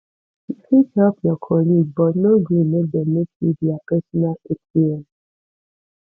you fit help your colleague but no gree make dem make you their personal atm